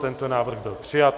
Tento návrh byl přijat.